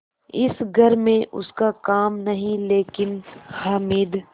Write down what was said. इस घर में उसका काम नहीं लेकिन हामिद